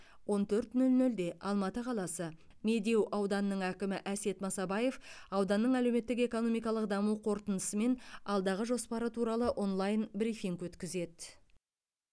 он төрт нөл нөлде алматы қаласы медеу ауданының әкімі әсет масабаев ауданның әлеуметтік экономикалық даму қорытындысы мен алдағы жоспары туралы онлайн брифинг өткізеді